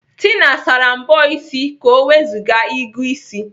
Tina sara mbọ ịsị ka ọ wezuga ịgụ ịsị.